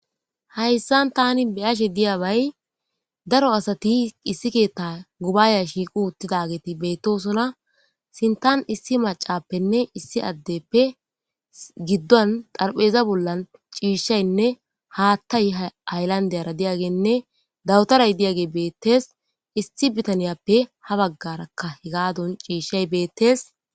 Hayssan tani beyashe diyabay daro asati issi keetta gubaaya shiiqu uttidageeti beettosona sintan issi macappenne issi addeppe giddon xarpheeza bollan ciishshaynne haattay hayllandeyara diyagenne dawutaray diyage beettees issi bitaniyappe ha baggarakka h gaadon ciishshay beettees.